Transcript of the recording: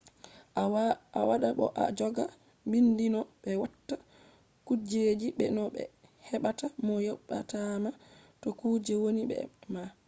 a wada bo a joga bindi no be watta kujeji be no be hebata mo yobatama to kuje vonni be ma